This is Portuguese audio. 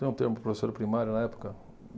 Tem um termo para professora primária na época?